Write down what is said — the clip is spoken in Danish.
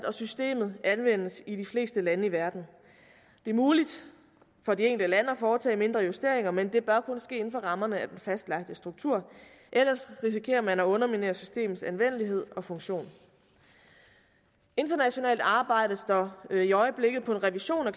og systemet anvendes i de fleste lande i verden det er muligt for de enkelte lande at foretage mindre justeringer men det bør kun ske inden for rammerne af den fastlagte struktur ellers risikerer man at underminere systemets anvendelighed og funktion internationalt arbejdes der i øjeblikket på en revision af